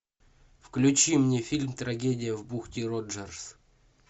включи мне фильм трагедия в бухте роджерс